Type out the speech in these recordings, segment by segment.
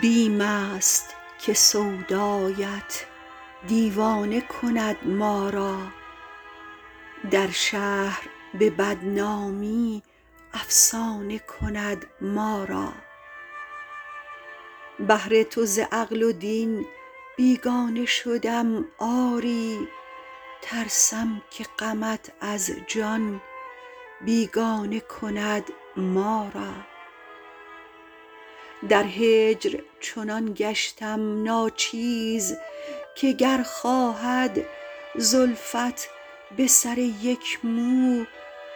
بیم است که سودایت دیوانه کند ما را در شهر به بدنامی افسانه کند ما را بهر تو ز عقل و دین بیگانه شدم آری ترسم که غمت از جان بیگانه کند ما را در هجر چنان گشتم ناچیز که گر خواهد زلفت به سر یک مو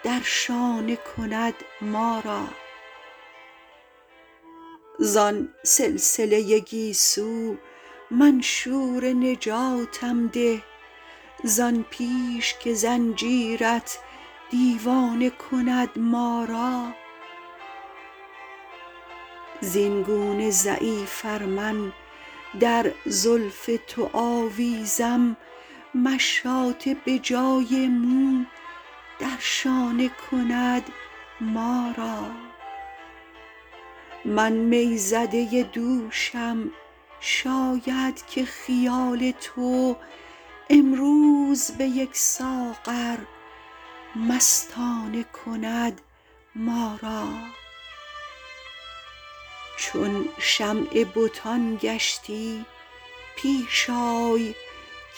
در شانه کند ما را زان سلسله گیسو منشور نجاتم ده زان پیش که زنجیرت دیوانه کند ما را زینگونه ضعیف ار من در زلف تو آویزم مشاطه به جای مو در شانه کند ما را من می زده دوشم شاید که خیال تو امروز به یک ساغر مستانه کند ما را چون شمع بتان گشتی پیش آی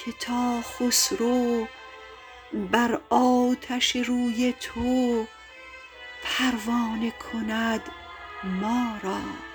که تا خسرو بر آتش روی تو پروانه کند ما را